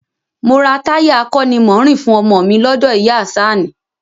Mo ra táyà akọ́nimọ̀ọ́rìn fún ọmọ ọ mi lọ́dọ̀ ìyá a Àṣàní